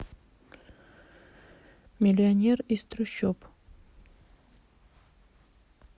миллионер из трущоб